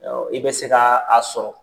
Awɔ i be se kaa a sɔrɔ.